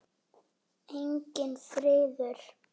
Enginn friður.